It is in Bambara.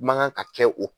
Ma kan ka kɛ o